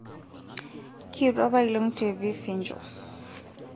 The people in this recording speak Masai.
kietuo apailong' te vifinjo